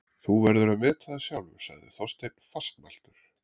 Þú verður að meta það sjálfur sagði Þorsteinn fastmæltur.